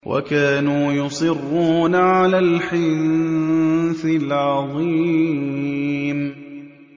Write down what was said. وَكَانُوا يُصِرُّونَ عَلَى الْحِنثِ الْعَظِيمِ